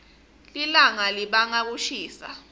lilawga libanga kushisa